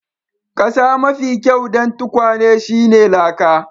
Kasa mafi kyau dan tukwane shine laka.